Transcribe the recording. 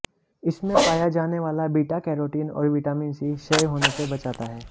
इसमें पाया जाने वाला बीटा कैरोटिन और विटामिन सी क्षय होने से बचाता है